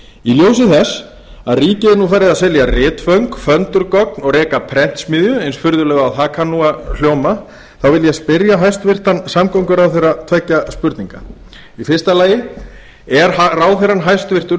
í ljósi þess að ríkið er nú farið að selja ritföng föndurgögn og reka prentsmiðju eins furðulegt og það kann nú að hljóma þá vil ég spyrja hæstvirtan samgönguráðherra tveggja spurninga fyrsta er hæstvirtur ráðherra